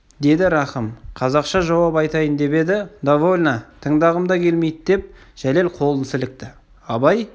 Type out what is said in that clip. деді рахым қазақша жауап айтайын деп еді довольно тыңдағым да келмейді деп жәлел қолын сілікті абай